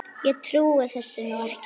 Ég trúi þessu nú ekki!